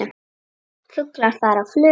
Fuglar fara á flug.